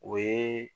O ye